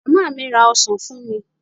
Màmá mi ra ọsán fún mi.